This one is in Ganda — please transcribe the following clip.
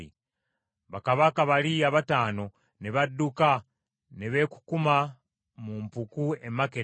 Bakabaka bali abataano ne badduka ne beekukuma mu mpuku e Makkeda.